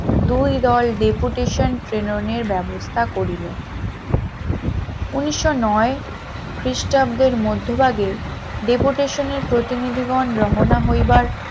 দুই দল deputation প্রেরণের ব্যবস্থা করিলেন উনিশশ নয় খ্রিস্টাব্দের মধ্যভাগে deputation র প্রতিনিধিগণ রওনা হইবার